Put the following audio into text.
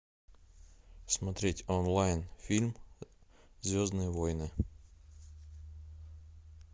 смотреть онлайн фильм звездные войны